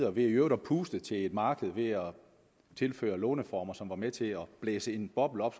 og ved i øvrigt at puste til et marked ved at tilføre låneformer som var med til at blæse en boble op